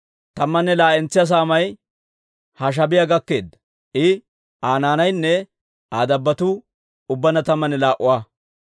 Tammanne laa"entsa saamay Hashaabiyaa gakkeedda; I, Aa naanaynne Aa dabbotuu ubbaanna tammanne laa"a.